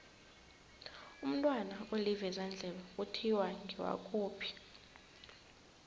umntwana olivezandlebe kuthiwa ngewakuphi